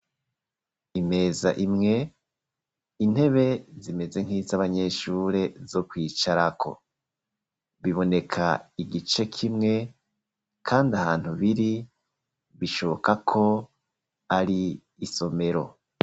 Imeza imwe, intebe zimeze nk'iz' abanyeshure, zo kwicarako; biboneka igice kimwe, kandi ahantu biri, bishoboka ko, ari isomero.